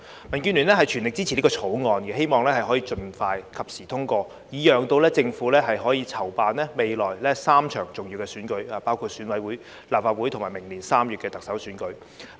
民建聯全力支持《條例草案》，希望可以盡快及時通過，以讓政府可籌辦未來3場重要的選舉，包括選舉委員會、立法會及明年3月的特首選舉。